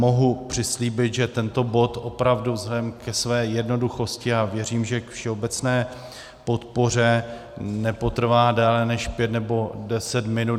Mohu přislíbit, že tento bod opravdu vzhledem ke své jednoduchosti, a věřím, že k všeobecné podpoře nepotrvá déle než pět nebo deset minut.